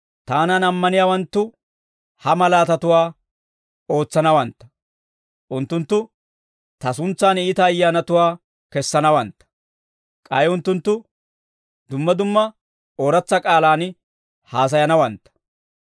Taanan ammaniyaawanttu ha malaatatuwaa ootsanawantta: unttunttu ta suntsan iita ayyaanatuwaa kessanawantta; k'ay unttunttu dumma dumma ooratsa k'aalaan haasayanawantta.